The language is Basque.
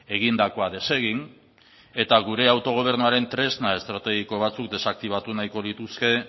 egindakoa desegin eta gure autogobernuaren tresna estrategiko batzuk desaktibatu nahiko lituzke